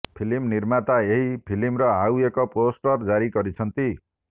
film ନିର୍ମାତା ଏହି ଫିଲ୍ମର ଆଉ ଏକ ପୋଷ୍ଟର ଜାରୀ କରିଛନ୍ତି